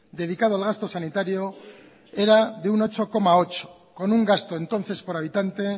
dedicado al gasto sanitario era de un ocho coma ocho con un gasto entonces por habitante